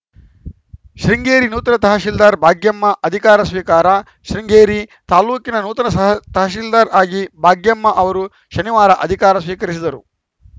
ಶೃಂಗೇರಿ ನೂತನ ತಹಸೀಲ್ದಾರ್‌ ಭಾಗ್ಯಮ್ಮ ಅಧಿಕಾರ ಸ್ವೀಕಾರ ಶೃಂಗೇರಿ ತಾಲೂಕಿನ ನೂತನ ಸ ತಹಸೀಲ್ದಾರ್‌ ಆಗಿ ಭಾಗ್ಯಮ್ಮ ಅವರು ಶನಿವಾರ ಅಧಿಕಾರ ಸ್ವೀಕರಿಸಿದರು